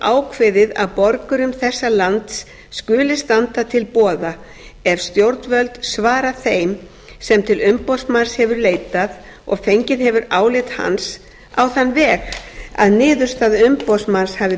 ákveðið að borgurum þessa lands skuli standa til boða ef stjórnvöld svara þeim sem til umboðsmanns hefur leitað og fengið hefur álit hans á þann veg að niðurstaða umboðsmanns hafi